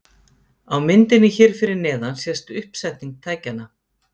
Á myndinni hér fyrir neðan sést uppsetning tækjanna.